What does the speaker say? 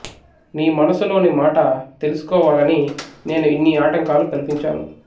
నీ మనసులో మాట తెలుసుకోవాలని నేను ఇన్ని ఆటంకాలు కల్పించాను